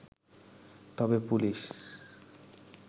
তবে পুলিশ